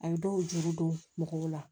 A ye dɔw juru don mɔgɔw la